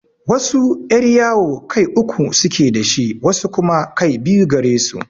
Wasu yar'yawo kai uku suke da shi, wasu kuma kai biyu gare su.